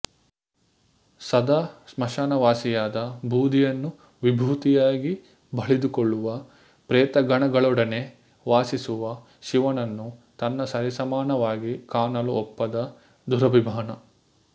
ಸದಾ ಸ್ಮಶಾನವಾಸಿಯಾದ ಬೂದಿಯನ್ನು ವಿಭೂತಿಯಾಗಿ ಬಳಿದುಕೊಳ್ಳುವ ಪ್ರೇತಗಣಗಳೊಡನೆ ವಾಸಿಸುವ ಶಿವನನ್ನು ತನ್ನ ಸರಿಸಮಾನವಾಗಿ ಕಾಣಲು ಒಪ್ಪದ ದುರಭಿಮಾನ